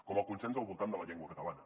com el consens al voltant de la llengua catalana